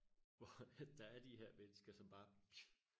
hvor at der er de her mennesker som bare